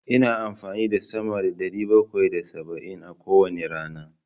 Ina amfani da sama da ɗari bakwai da saba'in a kowane rana.